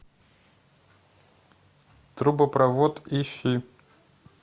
трубопровод ищи